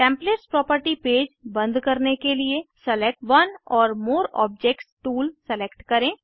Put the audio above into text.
templates property page बंद करने के लिए select one or more objects tool select करें